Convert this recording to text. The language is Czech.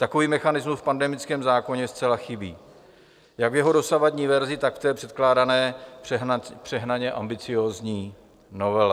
Takový mechanismus v pandemickém zákoně zcela chybí jak v jeho dosavadní verzi, tak v té předkládané přehnaně ambiciózní novele.